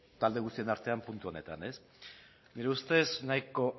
talde guztien artean puntu honetan nire ustez nahiko